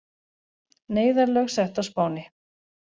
Neyðarlög sett á Spáni